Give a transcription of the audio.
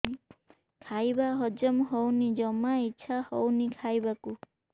ଖାଇବା ହଜମ ହଉନି ଜମା ଇଛା ହଉନି ଖାଇବାକୁ